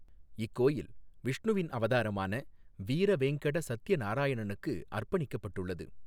இக்கோயில் விஷ்ணுவின் அவதாரமான வீரவேங்கட சத்தியநாராயணனுக்கு அா்பணிக்கப்பட்டுள்ளது.